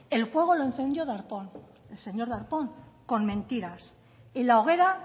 el fuego lo encendió el señor darpón con mentiras y la hoguera